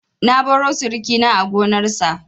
Na baro sirikina a gonarsa.